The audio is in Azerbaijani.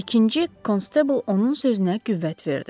ikinci konstable onun sözünə qüvvət verdi.